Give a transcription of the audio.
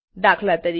દાત